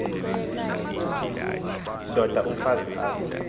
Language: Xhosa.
ndod umfaz az